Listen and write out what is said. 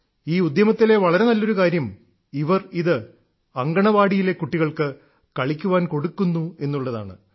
ഈ ഉദ്യമത്തിലെ വളരെ നല്ലൊരു കാര്യം ഇവർ ഇത് അങ്കണവാടിയിലെ കുട്ടികൾക്ക് കളിക്കാൻ കൊടുക്കുന്നു എന്നുള്ളതാണ്